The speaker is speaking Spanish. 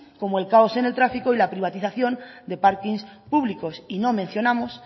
como el caos en el tráfico y la privatización de parkings públicos y no mencionamos